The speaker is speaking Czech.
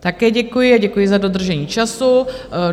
Také děkuji a děkuji za dodržení času.